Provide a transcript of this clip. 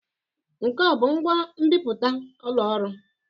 Nke a ọ bụ ngwa nbipute ụlọ ọrụ?